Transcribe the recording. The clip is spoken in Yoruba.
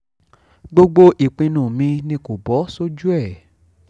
gbogbo ìpinnu mi ni kò bọ́ sójú ẹ̀